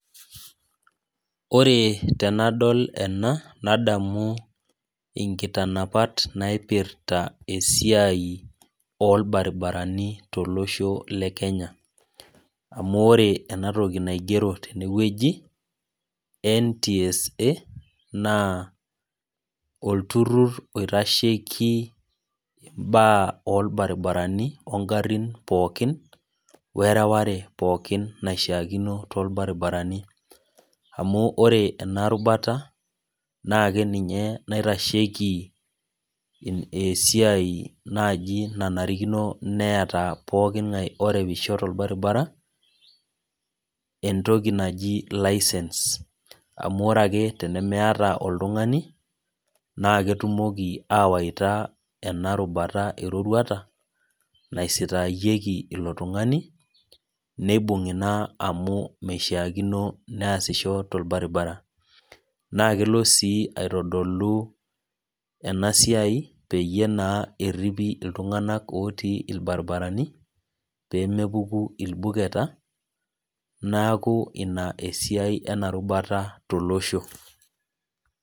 Ore tenadol ena, nadamu inkitanapat naipirta esiai orbaribarani tolosho le Kenya. Amu ore enatoki naigero tenewueji, NTSA, naa olturrur oitasheki imbaa orbaribarani ogarrin pookin, wereware pookin naishaakino torbaribarani. Amu ore ena rubata, na keninye naitasheki esiai naji nenarikino neeta pooking'ae orewisho torbaribara, entoki naji licence. Amu ore ake tenimiata oltung'ani, na ketumoki awaita ena rubata eroruata, naisitaayieki ilo tung'ani, neibung'i naa amu meishaakino neesisho torbaribara. Na kelo si aitodolu enasiai peyie naa erripi iltung'anak otii irbaribarani, pemepuku irbuketa, neeku ina esiai ina rubata tolosho.